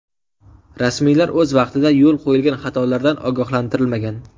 Rasmiylar o‘z vaqtida yo‘l qo‘yilgan xatolardan ogohlantirilmagan.